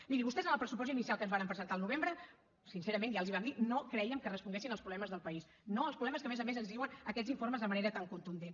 mirin vostès en el pressupost inicial que ens varen presentar al novembre sincerament ja els hi vam dir no crèiem que responguessin als problemes del país no als problemes que a més a més ens diuen aquests informes de manera tan contundent